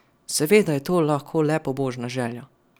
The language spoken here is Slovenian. Seveda je to lahko le pobožna želja.